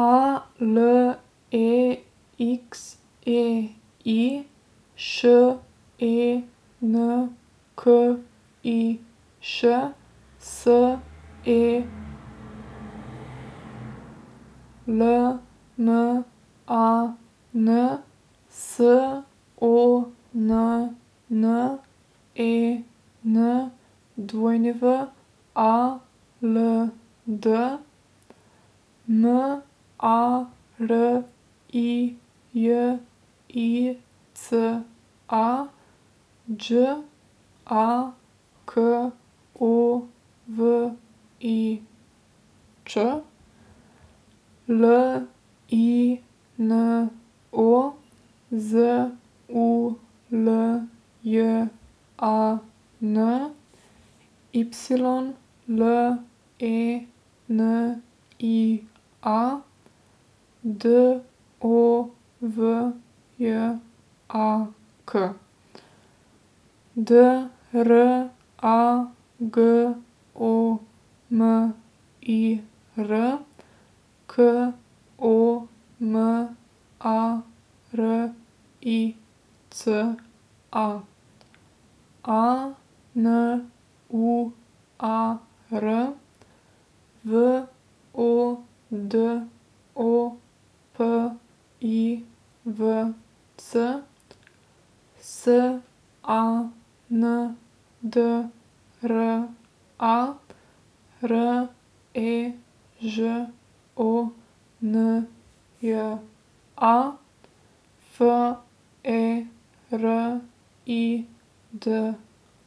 A L E X E I, Š E N K I Š; S E L M A N, S O N N E N W A L D; M A R I J I C A, Đ A K O V I Ć; L I N O, Z U L J A N; Y L E N I A, D O V J A K; D R A G O M I R, K O M A R I C A; A N U A R, V O D O P I V C; S A N D R A, R E Ž O N J A; F E R I D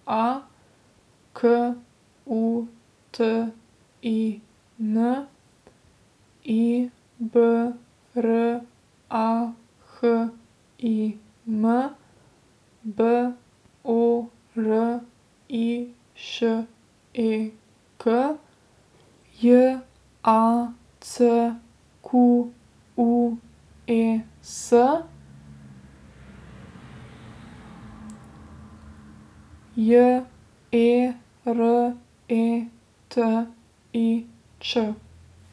A, K U T I N; I B R A H I M, B O R I Š E K; J A C Q U E S, J E R E T I Č.